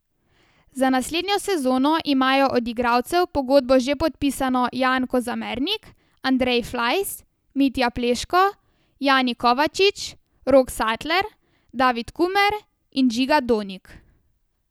Za naslednjo sezono imajo od igralcev pogodbo že podpisano Jan Kozamernik, Andrej Flajs, Mitja Pleško, Jani Kovačič, Rok Satler, David Kumer in Žiga Donik.